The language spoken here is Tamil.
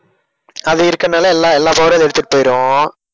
அது இருக்கனால எல்லா எல்லா power யும் அது எடுத்திட்டு போயிடும்.